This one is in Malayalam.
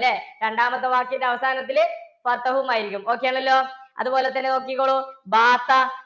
ല്ലേ? രണ്ടാമത്തെ വാക്കിന്റെ അവസാനത്തില്‍ മായിരിക്കും. okay ആണല്ലോ? അതുപോലെതന്നെ നോക്കിക്കോളൂ